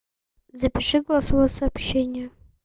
запиши голосовое сообщение